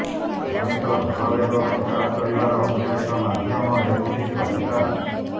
ମଣିଷ ଭାବାବେଗ ପ୍ରକାଶ କରିବାର ଅନ୍ୟ ଏକ ମାଧ୍ୟ ମ ହେଉଛି କବିତା